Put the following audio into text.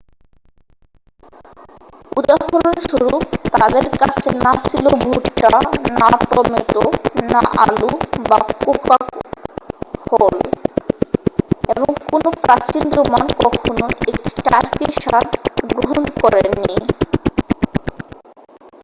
উদাহরণস্বরূপ তাদের কাছে না ছিল ভুট্টা না টমেটো না আলু বা কোকো ফল এবং কোনও প্রাচীন রোমান কখনও একটি টার্কির স্বাদ গ্রহণ করেননি